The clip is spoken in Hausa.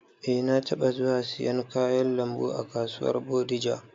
Eh, na taɓa zuwa siyan kayan lambu a kasuwar bodija